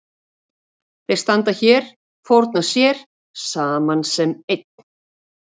Þeir standa hér, fórna sér saman sem einn.